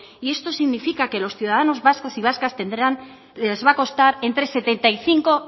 y esto significa que a los ciudadanos vascos y vascas les va a costar entre setenta y cinco